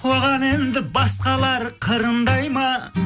оған енді басқалар қырындай ма